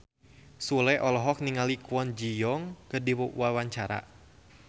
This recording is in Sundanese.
Sule olohok ningali Kwon Ji Yong keur diwawancara